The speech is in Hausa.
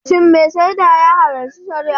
Shin mai shaida ya halarci shari'ar?